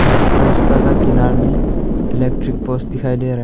इस रास्ता के किनारे में इलेक्ट्रिक पोलस दिखाई दे रहा--